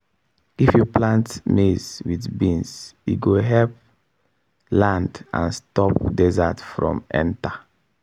if you plant maize with beans e go help land and stop desert from enter.